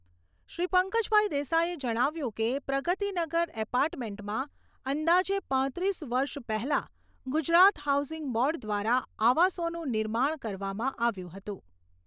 શ્રી પંકજભાઈ દેસાઈએ જણાવ્યું કે, પ્રગતિનગર એપાર્ટમેન્જમાં અંદાજે પાંત્રીસ વર્ષ પહેલા ગુજરાત હાઉસિંગ બોર્ડ દ્વારા આવાસોનું નિર્માણ કરવામાં આવ્યું હતું.